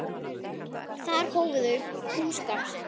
Þar hófu þau búskap sinn.